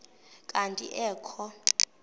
kanti ee kho